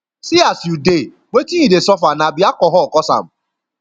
see as you dey wetin you dey suffer na be alcohol cause am